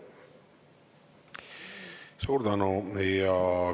Suur tänu!